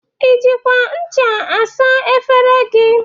I jikwa ncha saa efere gị?